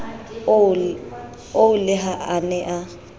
oo le ha a ne